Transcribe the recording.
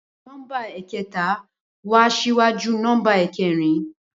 Bẹẹni nọmba ẹkẹta wa síwájú nọmba ẹkẹrin